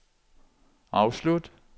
afslut